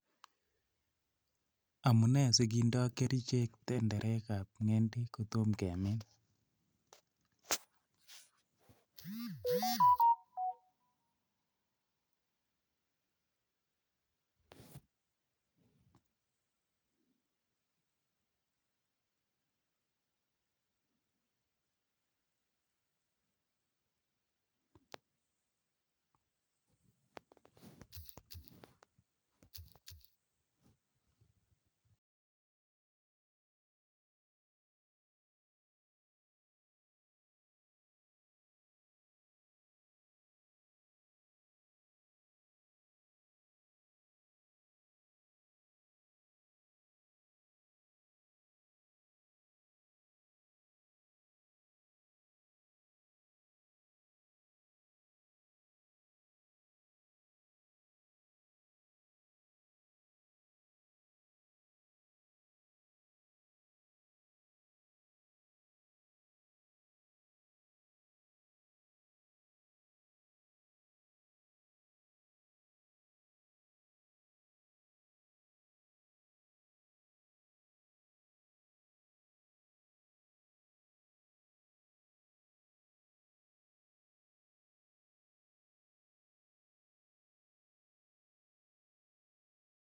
Amunee sikindo kerichek tenderikab kotom kemin?